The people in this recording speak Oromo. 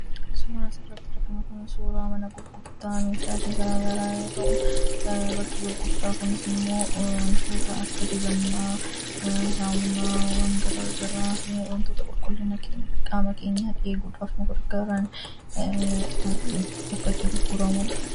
Suuraan asitti arginu kun suuraa mana gurgurtaa meeshaalee garagaraa yoo ta'u, bakki gurgurtaa kunis immoo wantoota akka dibannaa, saamunaa garaagaraa, wantoota qulqullina qaama keenyaa eeguudhaaf nu gargaaran bakka itti gurguramudha.